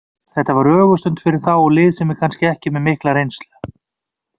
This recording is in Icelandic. Þetta var ögurstund fyrir þá og lið sem er kannski ekki með mikla reynslu.